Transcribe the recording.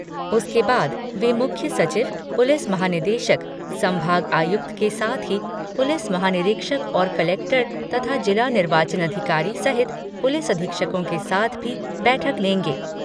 उसके बाद वे मुख्य सचिव, पुलिस महानिदेशक, संभाग आयुक्त के साथ ही पुलिस महानिरीक्षक और कलेक्टर तथा जिला निर्वाचन अधिकारी सहित पुलिस अधीक्षकों के साथ भी बैठक लेंगे।